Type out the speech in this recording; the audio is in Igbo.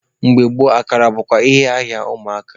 Mgbe gboo, akara bụkwa ihe ahịa ụmụaka.